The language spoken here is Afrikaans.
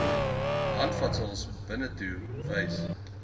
handvatsels binnetoe wys